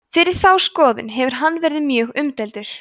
fyrir þá skoðun hefur hann verið mjög umdeildur